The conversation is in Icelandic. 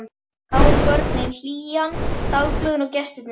Þar voru börnin, hlýjan, dagblöðin og gestirnir.